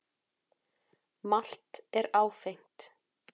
Malt er áfengt.